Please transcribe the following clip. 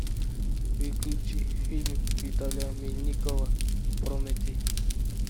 включи фильм виталия мельникова прометей